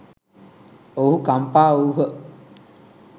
ඔවූහූ කම්පා වූහ.